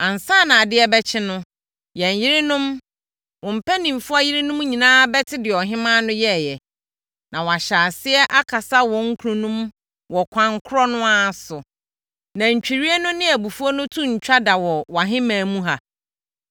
Ansa na adeɛ bɛkye no, yɛn yerenom, wo mpanimfoɔ yerenom nyinaa bɛte deɛ ɔhemmaa no yɛeɛ, na wɔahyɛ aseɛ akasa wɔn kununom wɔ kwan korɔ no ara so. Na ntwirie no ne abufuo no to rentwa da wɔ wʼahemman mu ha.